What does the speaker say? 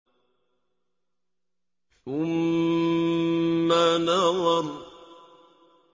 ثُمَّ نَظَرَ